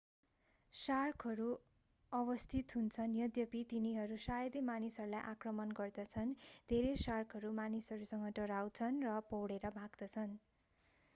शार्कहरू अवस्थित हुन्छन् यद्यपि तिनीहरू शायदै मानिसहरूलाई आक्रमण गर्दछन् धेरै शार्कहरू मानिसहरूसँग डराउँछन् र पौडेर भाग्छन्